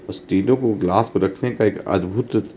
उस टिलो को ग्लास पे रखने का एक अद्भुत--